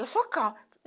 Eu sou calma.